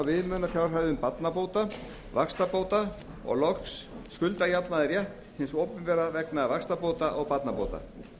viðmiðunarfjárhæðum barnabóta vaxtabóta og loks skuldajafnaðarrétt hins opinbera vegna vaxtabóta og barnabóta